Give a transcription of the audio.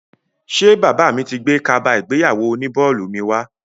Ṣé bàbá mi ti gbé kaba ìgbéyàwó oní bọ́ọ̀lù mi wá?